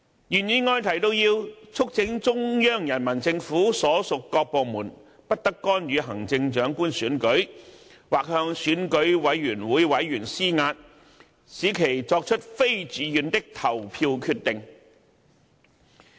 原議案提到，要"促請中央人民政府所屬各部門不得干預行政長官選舉"，"或向選舉委員會委員施壓，使其作出非自願的投票決定"。